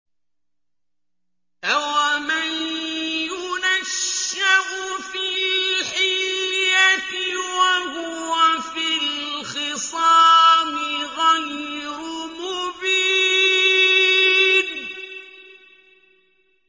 أَوَمَن يُنَشَّأُ فِي الْحِلْيَةِ وَهُوَ فِي الْخِصَامِ غَيْرُ مُبِينٍ